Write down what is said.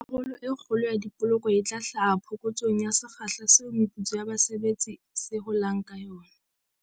Karolo e kgolo ya dipoloko e tla hlaha phokotsong ya sekgahla seo meputso ya base betsi se holang ka sona.